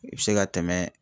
I bɛ se ka tɛmɛ